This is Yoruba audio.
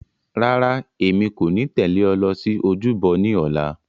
Rárá, èmi kò ní tẹ̀lé ọ lọ sí ojúbọ ní ọ̀la.